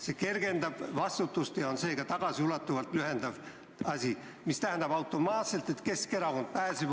See kergendab vastutust ja see tähendab automaatselt, et Keskerakond pääseb ...